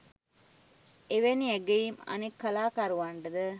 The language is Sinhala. එවැනි ඇගයීම් අනෙක් කලාකරුවන්ටද